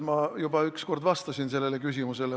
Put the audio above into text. Ma juba üks kord vastasin sellele küsimusele.